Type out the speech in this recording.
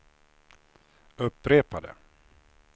upprepade